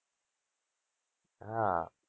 હા